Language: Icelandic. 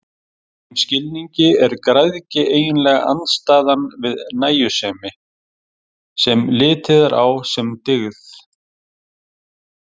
Í þeim skilningi er græðgi eiginlega andstæðan við nægjusemi, sem litið er á sem dygð.